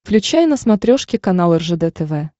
включай на смотрешке канал ржд тв